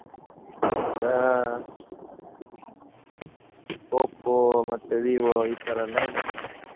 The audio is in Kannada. ಈಗಾ Oppo ಮತ್ತೆ Vivo ಇತರ ಎಲ್ಲ ಉಂಟು.